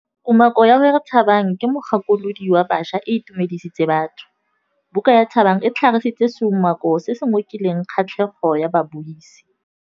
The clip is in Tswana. Kumakô ya gore Thabang ke mogakolodi wa baša e itumedisitse batho. Buka ya Thabang e tlhagitse seumakô se se ngokileng kgatlhegô ya babuisi.